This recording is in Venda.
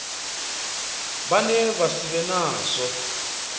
vhane vha si vhe nazwo